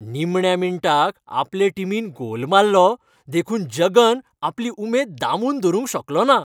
निमण्या मिनटाक आपले टिमीन गोल मारलो देखून जगन आपली उमेद दामून धरुंक शकलो ना.